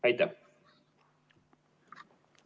Aitäh!